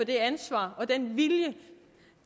det ansvar og den vilje